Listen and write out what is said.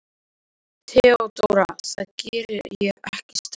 Baróninn lét sér ekki nægja þetta.